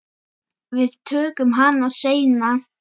Við tökum hana seinna.